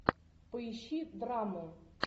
поищи драму